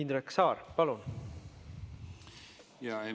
Indrek Saar, palun!